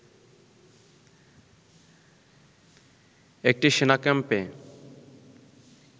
একটি সেনা ক্যাম্পে